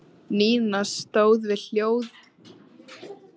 Nína stóð við hlið hennar og skrækti: Jesús!